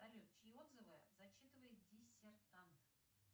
салют чьи отзывы зачитывает диссертант